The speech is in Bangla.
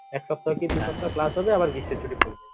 এক সপ্তাহ কি দুই সপ্তাহ ক্লাস হবে আবার গ্রীষ্মের ছুটি পরবে